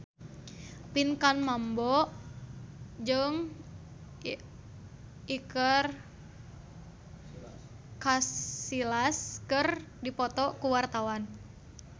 Pinkan Mambo jeung Iker Casillas keur dipoto ku wartawan